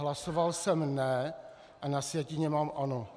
Hlasoval jsem ne, a na sjetině mám ano.